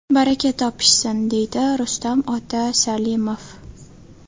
Baraka topishsin!”, deydi Rustam ota Salimov.